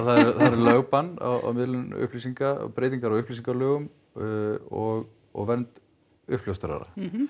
lögbann á miðlun upplýsinga breytingar á upplýsingalögum og og vernd uppljóstrara